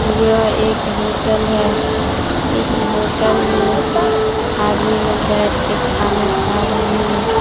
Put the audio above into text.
यह एक होटल है इस होटल में आदमी लोग बैठ के खाना खा रहे हैं।